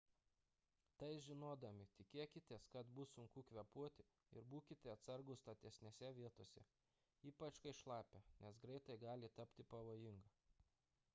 tai žinodami tikėkitės kad bus sunku kvėpuoti ir būkite atsargūs statesnėse vietose ypač kai šlapia nes greitai gali tapti pavojinga